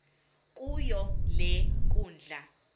kuyo le nkundla